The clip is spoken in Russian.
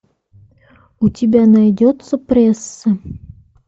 у тебя найдется пресса